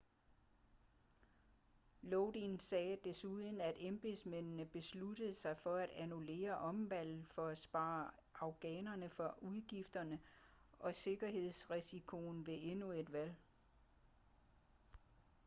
lodin sagde desuden at embedsmændene besluttede sig for at annullere omvalget for at spare afghanerne for udgifterne og sikkerhedsrisikoen ved endnu et valg